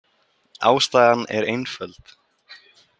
Ástæðan er einföld.